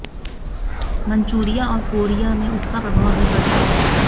Manchuria और Korea में उसका प्रभाव भी बढ़ गया